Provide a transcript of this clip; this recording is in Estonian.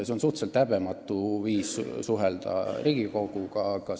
See on suhteliselt häbematu viis Riigikoguga suhelda.